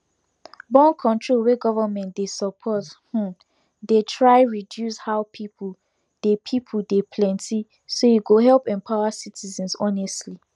borncontrol wey government dey support um dey try reduce how people dey people dey plenty so e go help empower citizenshonestly